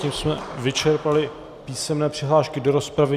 Tím jsme vyčerpali písemné přihlášky do rozpravy.